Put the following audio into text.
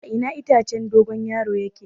A ina itacen dogon yaro yake?